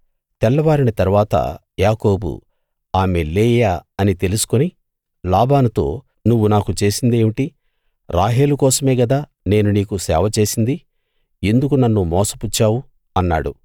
తెల్లవారిన తరువాత యాకోబు ఆమె లేయా అని తెలుసుకుని లాబానుతో నువ్వు నాకు చేసిందేమిటి రాహేలు కోసమే గదా నేను నీకు సేవ చేసింది ఎందుకు నన్ను మోసపుచ్చావు అన్నాడు